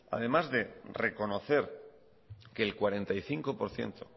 además de reconocer que el cuarenta y cinco por ciento